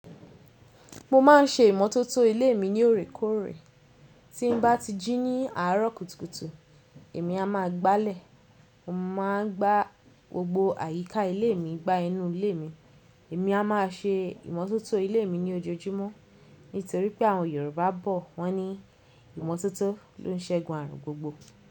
Mo má n ṣe ìmótótó ilé mi ní òrékóòrè. Tí n bá ti jí ní àárọ̀ kùtùkùtù, èmi a máa gbalẹ̀. Mo ma n gbá gbogbo àyíká ilé mi gbá inú ilé mi. Èmi a má se ìmótótó ilé mi ní ojoojúmọ́. Nítorí pé àwọn Yorùbá bọ̀ wọ́n ní ìmótótó ló n ṣẹgun ààrùn gbogbo.